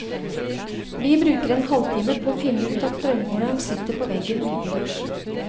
Vi bruker en halvtime på å finne ut at strømmåleren sitter på veggen utendørs.